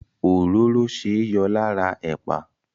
Òróró ṣeé yọ lára ẹ̀pà.